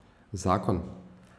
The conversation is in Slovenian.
Zakon?